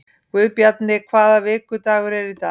Guðbjarni, hvaða vikudagur er í dag?